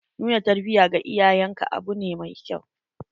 Nuna tarbiya ga iyayen ka abu ne mai kyau.